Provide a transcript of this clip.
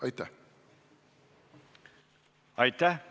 Aitäh!